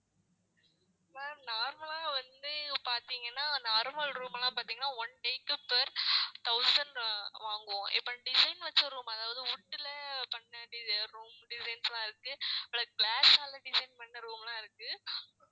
ma'am normal லா வந்து பார்த்தீங்கன்னா normal room எல்லாம் பார்த்தீங்கன்னா one day க்கு per thousand அ வாங்குவோம் இப்ப design வச்ச room அதாவது wood ல பண்ண வேண்டியது room designs எல்லாம் இருக்கு plus glass ஆல design பண்ண room எல்லாம் இருக்கு